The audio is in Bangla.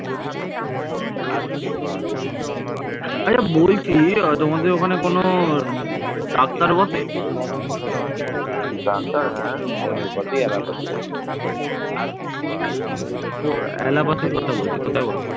বিহার এবং বাংলার অধিকাংশ স্থানই মগধের ভিতরে ছিল